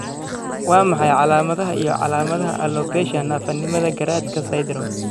Waa maxay calaamadaha iyo calaamadaha Alopecia naafanimada garaadka syndrome?